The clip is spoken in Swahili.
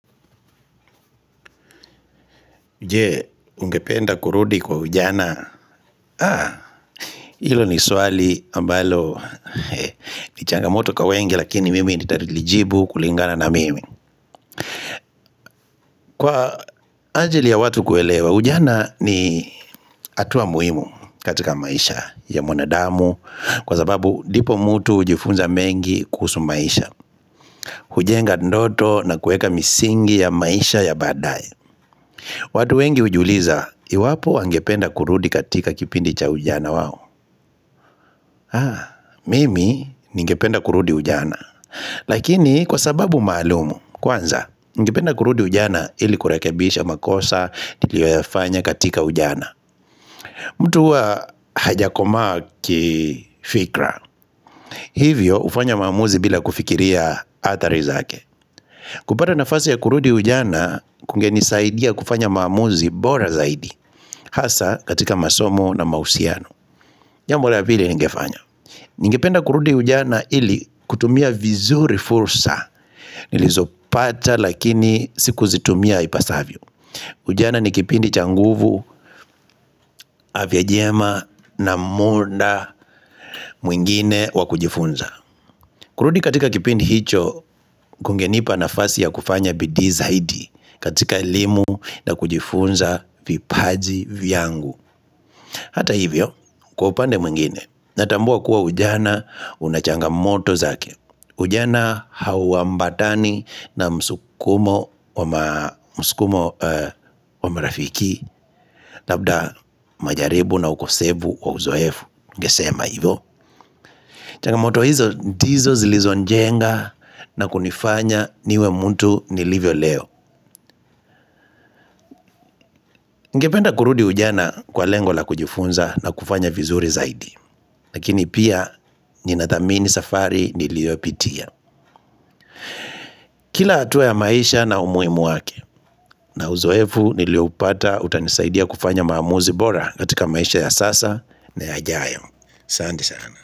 Je, ungependa kurudi kwa ujana? Haa, hilo ni swali ambalo ni changamoto kwa wengi lakini mimi nitatilijibu kulingana na mimi. Kwa ajili ya watu kuelewa, ujana ni hatuwa muhimu katika maisha ya mwanadamu kwa sababu ndipo mtu hujifunza mengi kuhusu maisha. Hujenga ndoto na kueka misingi ya maisha ya baadaye. Watu wengi hujiuliza, iwapo wangependa kurudi katika kipindi cha ujana wao? Haa, mimi ningependa kurudi ujana Lakini kwa sababu maalumu, kwanza Ningependa kurudi ujana ili kurekebisha makosa nilioyafanya katika ujana mtu huwa hajakomaa kifikra Hivyo hufanya maamuzi bila kufikiria hatari zake kupata nafasi ya kurudi ujana kungenisaidia kufanya maamuzi bora zaidi Hasaa katika masomo na mahusiano namna vile ningefanya Ningependa kurudi ujana ili kutumia vizuri fursa nilizopata lakini sikuzitumia ipasavyo. Ujana ni kipindi cha nguvu, afya njema na muda mwingine wa kujifunza. Kurudi katika kipindi hicho kungenipa nafasi ya kufanya bidii zaidi katika elimu na kujifunza vipaji vyangu. Hata hivyo, kwa upande mwingine, natambua kuwa ujana unachangamoto zake. Ujana hauambatani na msukumo wa marafiki, labda majaribu na ukosefu wa uzoefu. Ningesema hivyo. Changamoto hizo ndizo zilizojenga na kunifanya niwe mtu nilivyo leo. Ngependa kurudi ujana kwa lengo la kujifunza na kufanya vizuri zaidi. Lakini pia ninathamini safari niliopitia. Kila hatua ya maisha na umuhimu wake. Na uzoefu nilioupata utanisaidia kufanya maamuzi bora katika maisha ya sasa na yajayo. Asante sana.